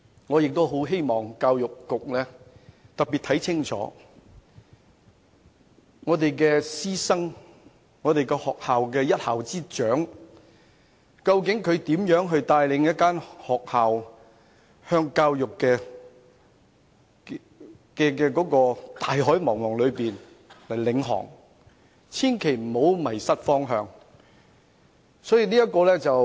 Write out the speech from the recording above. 我希望教育局要特別看清楚我們師生的情況，而一校之長究竟又是如何帶領一間學校在教育的大海中航行，希望他們千萬不要迷失方向。